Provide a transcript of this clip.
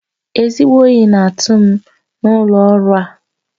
Ezigbo oyi na-atụ m n'ụlọ ọrụ a